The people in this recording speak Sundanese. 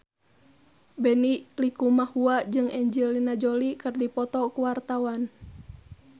Benny Likumahua jeung Angelina Jolie keur dipoto ku wartawan